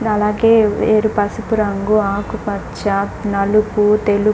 and అలాగే ఏర్-పసుపు రంగు ఆకుపచ్చ నలుపు తెలుపు--